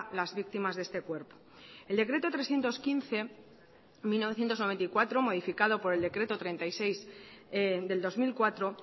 las víctimas de este cuerpo el decreto trescientos quince barra mil novecientos noventa y cuatro modificado por el decreto treinta y seis del dos mil cuatro